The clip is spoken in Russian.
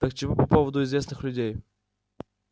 так чего по поводу известных людей